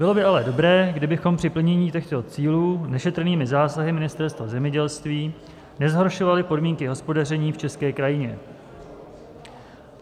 Bylo by ale dobré, kdybychom při plnění těchto cílů nešetrnými zásahy Ministerstva zemědělství nezhoršovali podmínky hospodaření v české krajině.